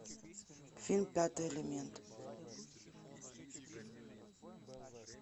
фильм пятый элемент